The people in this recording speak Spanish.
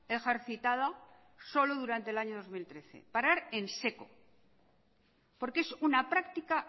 ejercitada solo durante el año dos mil trece porque es una práctica